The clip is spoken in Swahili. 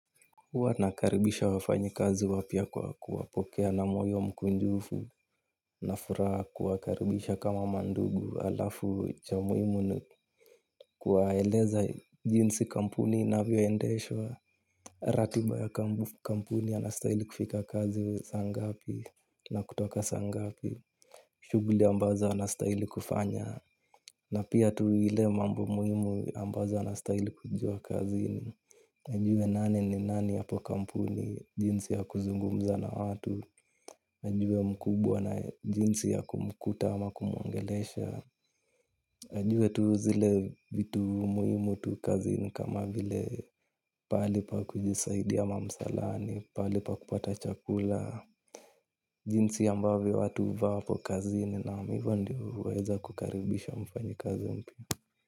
Huwa tunakaribisha wafanyikazi wapya kwa kuwapokea na moyo mkunjufu. Nina furaha kuwakaribisha kama mandugu alafu cha muhimu ni kuwaeleza jinsi kampuni inavyoendeshwa. Ratiba ya kampuni anastahili kufika kazi saa ngapi na kutoka sa ngapi. Shughuli ambazo anastahili kufanya. Na pia tu ile mambo muhimu ambazo anastahili kujua kazini. Nijue nani ni nani hapo kampuni jinsi ya kuzungumza na watu. Nijue mkubwa na jinsi ya kumkuta ama kumwongelesha. Nijue tu zile vitu muhimu tu kazini kama vile pahali pa kujisaidia ama msalani, pahali pa kupata chakula. Jinsi ambavyo watu huvaa hapo kazini naam hivyo ndio huweza kukaribisha mfanyikazi mpya.